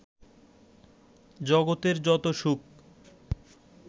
জগতের যত সুখ